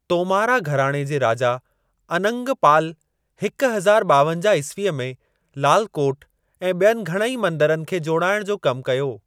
तोमारा घराणे जे राजा अनंगपाल हिकु हज़ार ॿावंजाह ईस्वीअ में लालकोट ऐं ॿियनि घणई मंदरनि खे जोड़ाइणु जो कमु कयो।